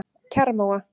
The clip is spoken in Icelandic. Kjarrmóa